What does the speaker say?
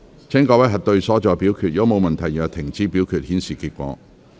如果沒有問題，現在停止表決，顯示結果。